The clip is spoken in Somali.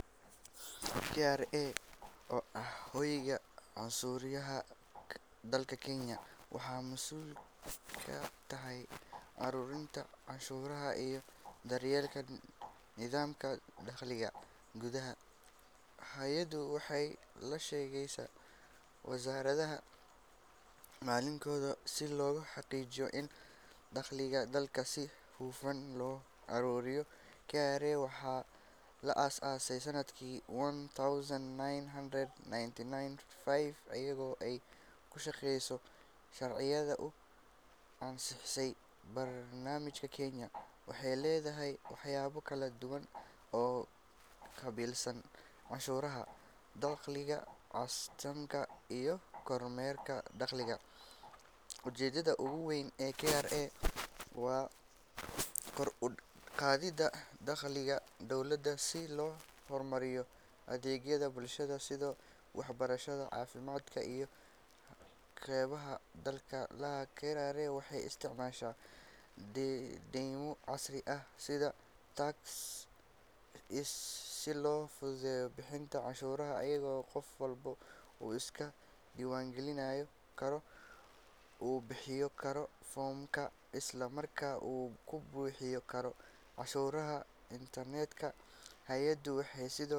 KRA oo ah hay’adda canshuuraha dalka Kenya, waxay mas’uul ka tahay ururinta canshuuraha iyo daryeelka nidaamka dakhliga gudaha. Hay’addu waxay la shaqeysaa wasaaradda maaliyadda si loo xaqiijiyo in dakhliga dalka si hufan loo ururiyo. KRA waxaa la aasaasay sanadkii one thousand nine hundred ninety five iyadoo ay ku shaqeyso sharciyada uu ansixiyay baarlamaanka Kenya. Waxay leedahay waaxyo kala duwan oo u qaabilsan canshuuraha dakhliga, kastamka, iyo kormeerka dakhliga. Ujeedada ugu weyn ee KRA waa kor u qaadida dakhliga dowladda si loo horumariyo adeegyada bulshada sida waxbarashada, caafimaadka iyo kaabeyaasha dhaqaalaha. KRA waxay isticmaashaa nidaamyo casri ah sida iTax si loo fududeeyo bixinta canshuuraha iyadoo qof walba uu iska diiwaangelin karo, uu buuxin karo foomamka, isla markaana uu ku bixin karo canshuuraha internetka. Hay’addu waxay sidoo.